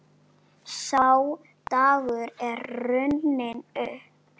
Sá dagur er runninn upp.